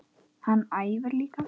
Hann æfir líka.